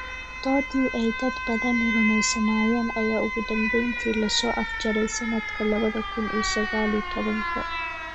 Doodii ay dad badani rumaysnaayeen ayaa ugu dambayntii la soo afjaray sanadka labada kun iyo sagal iyo tobanka.